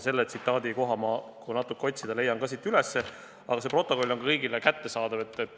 Kui natuke otsida, leiate selle tsitaadi üles, see protokoll on kõigile kättesaadav.